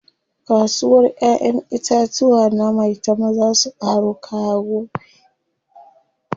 Kasuwar ƴaƴen itatuwa na maitama zaa su ƙaro kaya gobe.